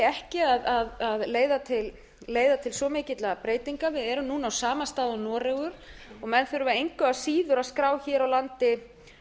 ekki að leiða til svo mikilla breytinga við erum núna á sama stað og noregur menn þurfa engu að síður að skrá hér á landi